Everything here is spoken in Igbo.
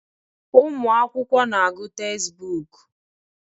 ụmụ akwụkwọ na-agụ tezbọọku.